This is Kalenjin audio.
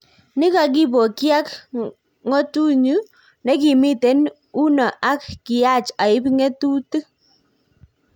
Nikakipokyiak ak ngotonyu nekimiten uno ak kiyaach aip ngetutik